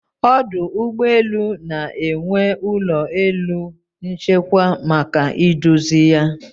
Ọdụ ụgbọ elu na-enwe ụlọ elu nchekwa maka iduzi ya